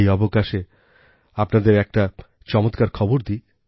এই অবকাশে আপনাদের একটি চমৎকার খবর দিই